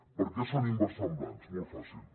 per què són inversemblants molt fàcil